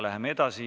Läheme edasi.